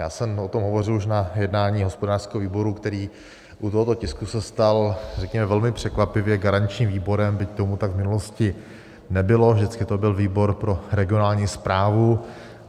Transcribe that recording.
Já jsem o tom hovořil už na jednání hospodářského výboru, který u tohoto tisku se stal, řekněme, velmi překvapivě garančním výborem, byť tomu tak v minulosti nebylo, vždycky to byl výbor pro regionální správu.